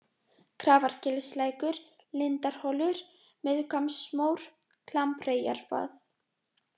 Grafargilslækur, Lindarholur, Miðhvammsmór, Klambreyjarvað